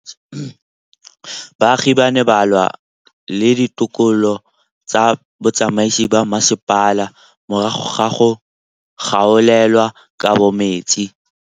Baagi ba ne ba lwa le ditokolo tsa botsamaisi ba mmasepala morago ga go gaolelwa kabo metsi.